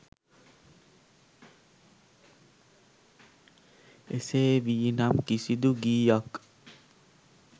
එසේ වී නම් කිසිදු ගීයක්